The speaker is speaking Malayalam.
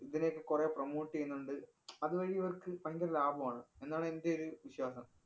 ഇവരെയൊക്കെ കൊറേ promote ചെയ്യുന്നുണ്ട്. അത് വഴി ഇവര്‍ക്ക് ഭയങ്കര ലാഭമാണ്. എന്നാണ് എന്‍റെ ഒരു വിശ്വാസം.